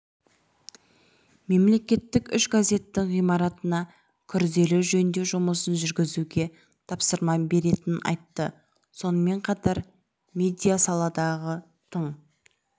мемлекеттік үш газеттің ғимаратына күрделі жөндеу жұмысын жүргізуге тапсырма беретінін айтты сонымен қатар медиасаладағы тың